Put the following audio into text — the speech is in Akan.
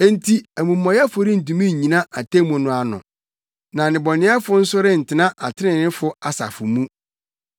Enti amumɔyɛfo rentumi nnyina atemmu no ano, na nnebɔneyɛfo nso rentena atreneefo asafo mu.